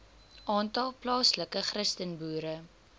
aantal plaaslike christenboere